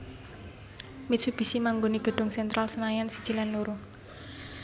Mitsubishi manggoni gedung Sentral Senayan siji lan loro